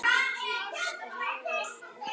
GRÍMUR: Nei?